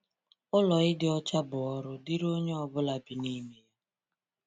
Ụlọ ịdị ọcha bụ ọrụ dịrị onye ọ bụla bi n’ime ya.